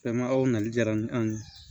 Fɛn ma o nali diyara ni an ye